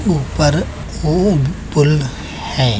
ऊपर ऊ पूल है।